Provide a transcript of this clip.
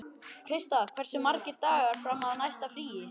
Krista, hversu margir dagar fram að næsta fríi?